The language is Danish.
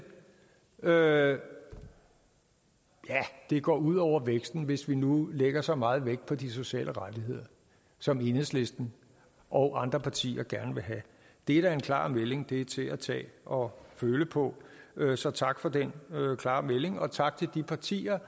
ja det går ud over væksten hvis vi nu lægger så meget vægt på de sociale rettigheder som enhedslisten og andre partier gerne vil have det er da en klar melding det er til at tage og føle på så tak for den klare melding og tak til de partier